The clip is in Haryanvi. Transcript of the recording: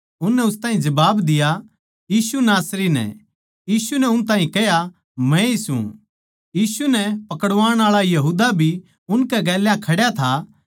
उननै उस ताहीं जबाब दिया यीशु नासरी नै यीशु नै उन ताहीं कह्या मैए सूं यीशु नै पकड़वाण आळा यहूदा भी उनकै गेल्या खड्या था